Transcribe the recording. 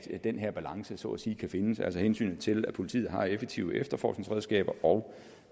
den her balance så at sige kan findes altså hensynet til at politiet har effektive efterforskningsredskaber og